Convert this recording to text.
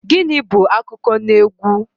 Gịnị bú akụkọnaegwu?